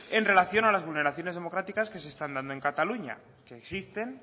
en relación a las vulneraciones democráticas que se están dando en cataluña que existen